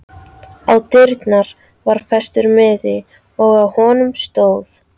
Á dyrnar var festur miði og á honum stóð